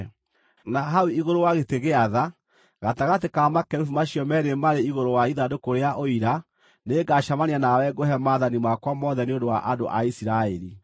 Na hau igũrũ wa gĩtĩ gĩa tha, gatagatĩ ka makerubi macio meerĩ marĩ igũrũ wa ithandũkũ rĩa Ũira nĩngacemania nawe ngũhe maathani makwa mothe nĩ ũndũ wa andũ a Isiraeli.